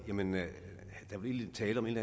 jamen er der virkelig tale om en